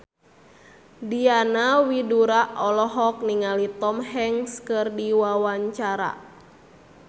Diana Widoera olohok ningali Tom Hanks keur diwawancara